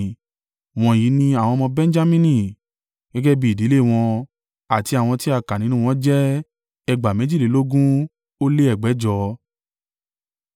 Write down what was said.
Wọ̀nyí ni àwọn ọmọ Benjamini; gẹ́gẹ́ bí ìdílé wọn; àti àwọn tí a kà nínú wọn jẹ́ ẹgbàá méjìlélógún ó lé ẹgbẹ̀jọ (45,600).